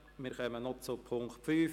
Wir kommen noch zum Punkt 5.